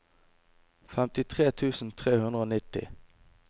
femtitre tusen tre hundre og nitti